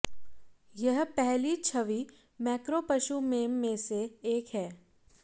यह पहली छवि मैक्रो पशु मेम में से एक है